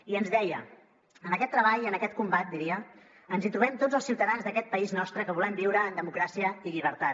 i ens deia en aquest treball i en aquest combat diria ens hi trobem tots els ciutadans d’aquest país nostre que volem viure en democràcia i llibertat